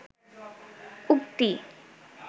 উক্তি